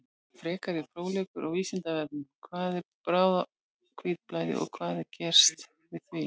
Frekari fróðleikur á Vísindavefnum: Hvað er bráðahvítblæði og hvað er gert við því?